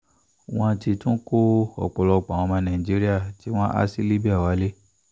wọ́n ti tún kó ọ̀pọ̀lọpọ̀ àwọn ọmọ nàìjíríà tí wọ́n há sí libya wálé